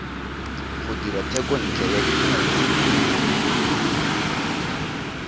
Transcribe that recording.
go dira thekontle ya dikumo